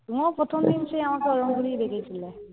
তুমিও প্রথমদিন সেই আমাকে ওরম করেই দেখেছিলে।